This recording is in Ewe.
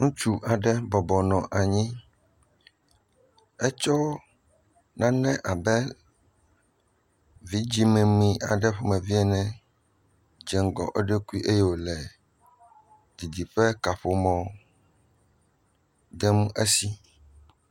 Ŋutsu aɖe bɔbɔ nɔ anyi. Etsɔ nane abe vidzɛ̃memi ƒomevi aɖe ene dze ŋgɔ eɖokui wòle didiƒe kaƒomɔ dem esi.